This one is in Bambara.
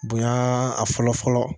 Bonya a fɔlɔ fɔlɔ